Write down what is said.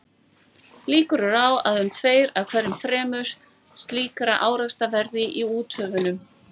Líkur eru á að um tveir af hverju þremur slíkra árekstra verði í úthöfunum.